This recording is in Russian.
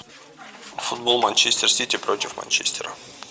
футбол манчестер сити против манчестера